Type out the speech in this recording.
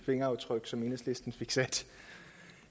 fingeraftryk som enhedslisten fik sat